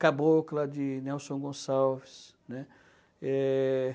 Cabocla, de Nelson Gonçalves. Eh...